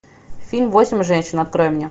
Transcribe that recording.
фильм восемь женщин открой мне